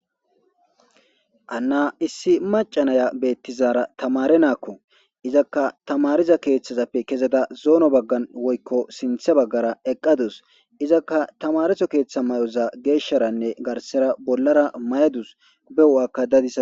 ana issi macanaya beettizaara tamare naakko izakka tamariza keeththazappe kezeda zoono baggan woykko sinthe baggara eqqadus izakka tamareso keeththa may7oza geeshsharanne garsera bollara may7adus bewu7akka dadis